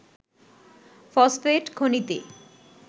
phosphate খনিতে